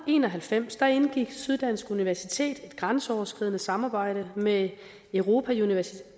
en og halvfems indgik syddansk universitet et grænseoverskridende samarbejde med europa